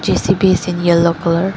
J_C_B is in yellow colour.